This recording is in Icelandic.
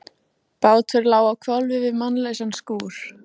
Marteinn flutti stutta tölu undir veggnum á biskupsstofu.